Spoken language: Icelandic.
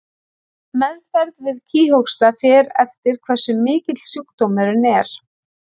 Meðferð við kíghósta fer eftir hversu mikill sjúkdómurinn er.